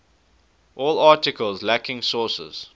all articles lacking sources